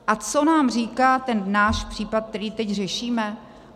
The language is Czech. A co nám říká ten náš případ, který teď řešíme?